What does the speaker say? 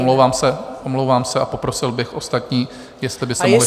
Omlouvám se, omlouvám se, a poprosil bych ostatní, jestli by se mohli ztišit.